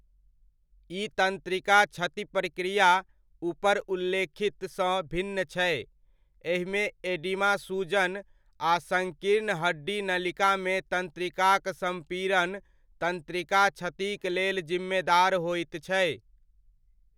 ई तन्त्रिका क्षति प्रक्रिया उपर उल्लेखितसँ भिन्न छै, एहिमे एडिमा सूजन आ सङ्कीर्ण हड्डी नलिकामे तन्त्रिकाक सम्पीड़न तन्त्रिका क्षतिक लेल जिम्मेदार होइत छै।